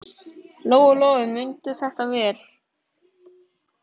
Lóa-Lóa mundi þetta vel.